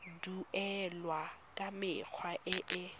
duelwa ka mekgwa e e